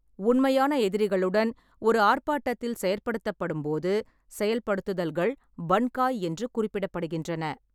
உண்மையான எதிரிகளுடன் ஒரு ஆர்ப்பாட்டத்தில் செயற்படுத்தும்போது போது செயல்படுத்துதல்கள் பன்காய் என்று குறிப்பிடப்படுகின்றன.